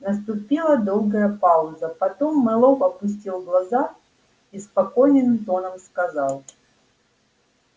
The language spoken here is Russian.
наступила долгая пауза потом мэллоу опустил глаза и спокойным тоном сказал